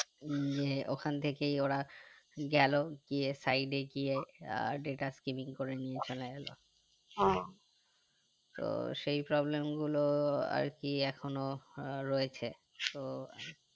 উম যে ওখান থেকেই ওরা গেলো গিয়ে side এ গিয়ে আহ data skipping করে নিয়ে চলে গেলো তো সেই problem গুলো আরকি এখনো আহ রয়েছে তো